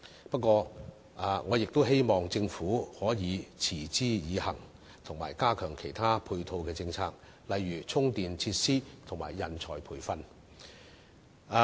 不過，我亦希望政府可以持之以恆，並加強其他配套政策，例如充電設施和人才培訓。